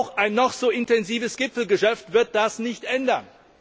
Auch ein noch so intensives Gipfelgeschäft wird daran nichts ändern.